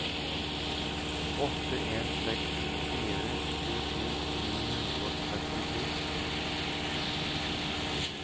åtte en seks fire tjueto ni hundre og trettito